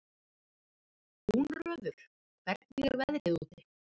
Húnröður, hvernig er veðrið úti?